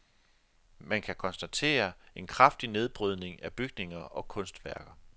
Man kan konstatere en kraftig nedbrydning af bygninger og kunstværker.